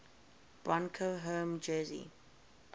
broncos home jersey